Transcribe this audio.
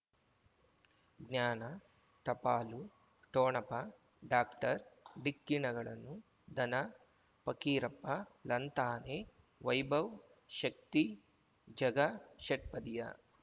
ಜ್ಞಾನ ಟಪಾಲು ಠೊಣಪ ಡಾಕ್ಟರ್ ಢಿಕ್ಕಿ ಣಗಳನು ಧನ ಫಕೀರಪ್ಪ ಳಂತಾನೆ ವೈಭವ್ ಶಕ್ತಿ ಝಗಾ ಷಟ್ಪದಿಯ